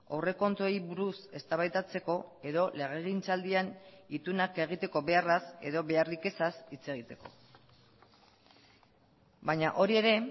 aurrekontuei buruz eztabaidatzeko edo legegintzaldian itunak egiteko beharraz edo beharrik ezaz hitz egiteko baina hori ere